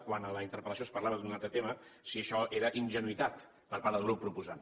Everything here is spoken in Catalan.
quan a la interpel·lació es parlava d’un altre tema si això era ingenuïtat per part del grup proposant